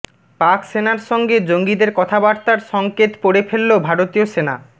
পাক সেনার সঙ্গে জঙ্গিদের কথাবার্তার সংকেত পড়ে ফেলল ভারতীয় সেনা